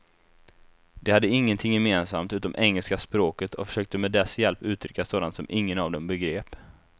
De hade ingenting gemensamt utom engelska språket och försökte med dess hjälp uttrycka sådant som ingen av dem begrep.